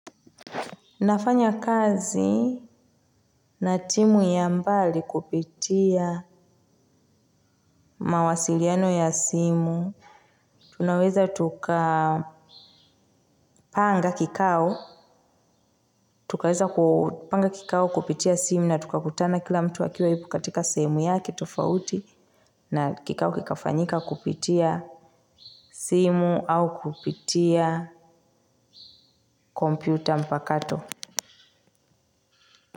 Nafanya kazi na timu ya mbali kupitia mawasiliano ya simu tunaweza tuka panga kikao tukaweza ku panga kikao kupitia simu na tukakutana kila mtu akiwa yupo katika sehemu yake tofauti na kikao kikafanyika kupitia simu au kupitia kompyuta mpakato.